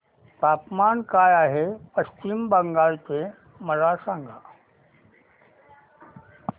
तापमान काय आहे पश्चिम बंगाल चे मला सांगा